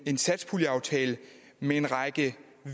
en satspuljeaftale med en række